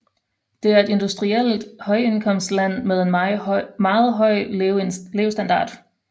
Det er et industrielt højindkomstland med en meget høj levestandard